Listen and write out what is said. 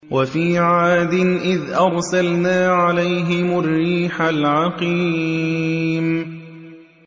وَفِي عَادٍ إِذْ أَرْسَلْنَا عَلَيْهِمُ الرِّيحَ الْعَقِيمَ